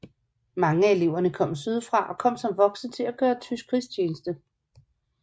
Mange af eleverne kom sydfra og kom som voksne til at gøre tysk krigstjeneste